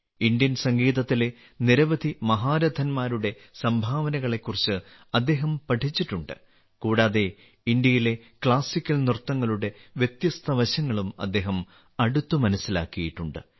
Indian സംഗീതത്തിലെ നിരവധി മഹാരഥന്മാരുടെ സംഭാവനകളെക്കുറിച്ച് അദ്ദേഹം പഠിച്ചിട്ടുണ്ട് കൂടാതെ ഇന്ത്യയിലെ ക്ലാസിക്കൽ നൃത്തങ്ങളുടെ വ്യത്യസ്ത വശങ്ങളും അദ്ദേഹം അടുത്ത് മനസ്സിലാക്കിയിട്ടുണ്ട്